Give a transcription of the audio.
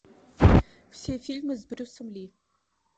все фильмы с брюсом ли